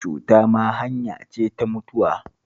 Cuta ma hanya ce ta mutuwa